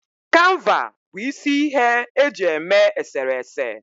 Kanva bụ isi ihe eji eme eserese